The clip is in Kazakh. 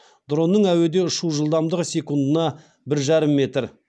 дронның әуеде ұшу жылдамдығы секундына бір жарым метр